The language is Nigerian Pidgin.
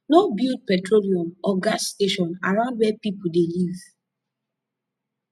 no build petroluem or gas station arround where pipo de live